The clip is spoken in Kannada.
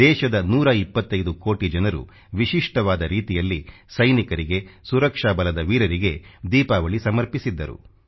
ದೇಶದ 125 ಕೋಟಿ ಜನರು ವಿಶಿಷ್ಟವಾದ ರೀತಿಯಲ್ಲಿ ಸೈನಿಕರಿಗೆ ಸುರಕ್ಷಾ ಬಲದ ವೀರರಿಗೆ ದೀಪಾವಳಿ ಸಮರ್ಪಿಸಿದ್ದರು